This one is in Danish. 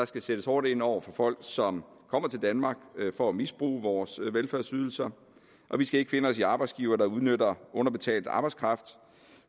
skal sættes hårdt ind over for folk som kommer til danmark for at misbruge vores velfærdsydelser og vi skal ikke finde os i arbejdsgivere der udnytter underbetalt arbejdskraft